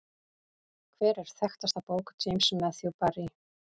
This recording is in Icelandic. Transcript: Hver er þekktasta bók James Matthew Barrie?